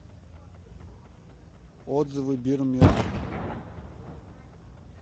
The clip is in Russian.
отзывы бир мир